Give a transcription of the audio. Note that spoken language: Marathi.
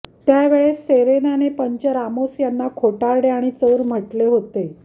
त्या वेळेस सेरेनाने पंच रामोस यांना खोटारडे आणि चोर म्हटले होते